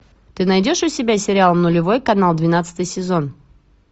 ты найдешь у себя сериал нулевой канал двенадцатый сезон